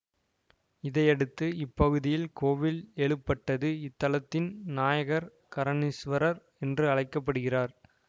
இதையடுத்து இப்பகுதியில் கோவில் எழுப்பப்பட்டது இத்தலத்தின் நாயகர் கரணீஸ்வரர் என்று அழைக்க படுகிறார்